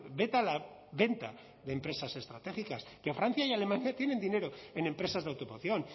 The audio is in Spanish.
veta la venta de empresas estratégicas que francia y alemania tienen dinero en empresas de automoción